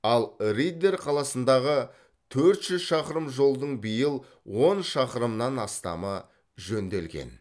ал риддер қаласындағы төрт жүз шақырым жолдың биыл он шақырымнан астамы жөнделген